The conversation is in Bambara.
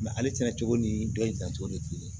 ale sɛnɛ cogo ni dɔ in dancogo tɛ kelen ye